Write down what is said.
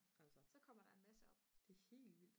så kommer der en masse op